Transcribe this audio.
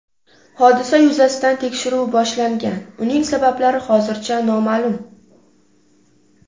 Hodisa yuzasidan tekshiruv boshlangan, uning sabablari hozircha noma’lum.